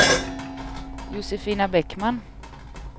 Josefina Bäckman